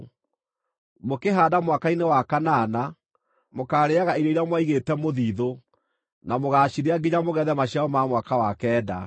Mũkĩhaanda mwaka-inĩ wa kanana, mũkaarĩĩaga irio iria mwaigĩte mũthiithũ, na mũgaacirĩa nginya mũgethe maciaro ma mwaka wa kenda.